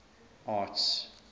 arts